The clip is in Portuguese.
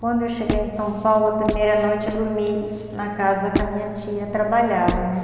Quando eu cheguei em São Paulo, a primeira noite eu dormi na casa que a minha tia trabalhava, né?